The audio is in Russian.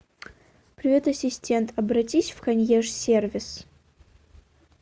привет ассистент обратись в консьерж сервис